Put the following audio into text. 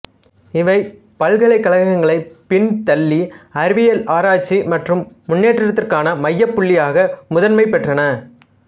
இவை பல்கலைக்கழகங்களைப் பின்தள்ளி அறிவியல் ஆராய்ச்சி மற்றும் முன்னேற்றத்துக்கான மையப் புள்ளியாக முதன்மை பெற்றன